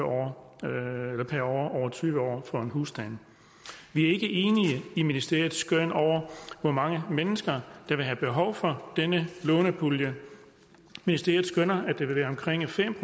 år over tyve år for en husstand vi er ikke enige i ministeriets skøn over hvor mange mennesker der vil have behov for denne lånepulje ministeriet skønner at det vil være omkring fem